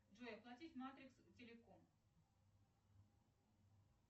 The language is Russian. джой оплатить матрикс телеком